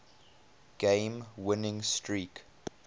game winning streak